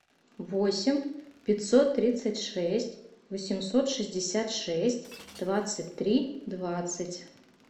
восемь пятьсот тридцать шесть восемьсот шестьдесят шесть двадцать три двадцать